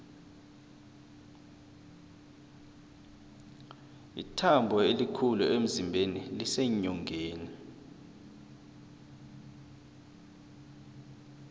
ithambo elikhulu emzimbeni liseenyongeni